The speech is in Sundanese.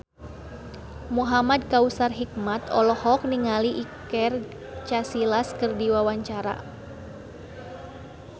Muhamad Kautsar Hikmat olohok ningali Iker Casillas keur diwawancara